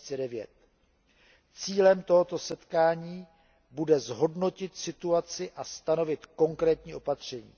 2009. Cílem tohoto setkání bude zhodnotit situaci a stanovit konkrétní opatření.